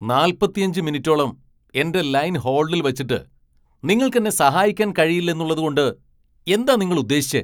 നാൽപ്പത്തിയഞ്ച് മിനിറ്റോളം എന്റെ ലൈൻ ഹോൾഡിൽ വച്ചിട്ട് നിങ്ങൾക്കെന്നെ സഹായിക്കാൻ കഴിയില്ലെന്നുള്ളതുകൊണ്ട് എന്താ നിങ്ങൾ ഉദ്ദേശിച്ചെ?